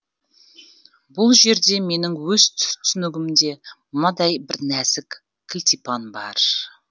бұл жерде менің өз түсінігімде мынадай бір нәзік кілтипан бар